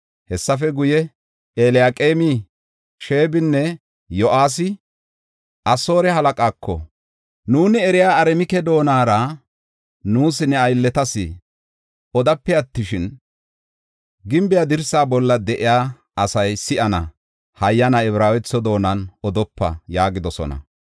Hessafe guye Eliyaqeemi, Sheebinne Yo7aasi Asoore halaqaako, “Nuuni eriya Aramike doonara nuus ne aylletas odape attishin, gimbe dirsa bolla de7iya asay si7ana mela Ibraawetho doonan odopa” yaagidosona.